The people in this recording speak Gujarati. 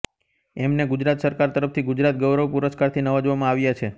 એમને ગુજરાત સરકાર તરફથી ગુજરાત ગૌરવ પુરસ્કારથી નવાજવામાં આવ્યા છે